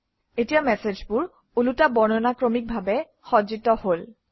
এতিয়া মেচেজবোৰ উলোটা বৰ্ণানুক্ৰমিকভাৱে সজ্জিত হল